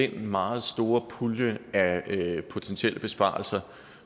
den meget store pulje af potentielle besparelser